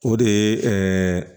O de ye ɛɛ